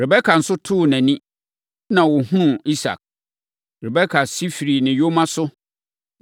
Rebeka nso too nʼani, na ɔhunuu Isak. Rebeka si firii ne yoma no so,